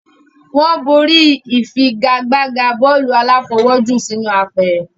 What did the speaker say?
wọ́n borí ìfagagbága bọ́ọ̀lù aláfọwọ́jù sínú apẹ̀rẹ̀.